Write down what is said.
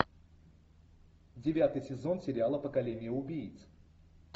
девятый сезон сериала поколение убийц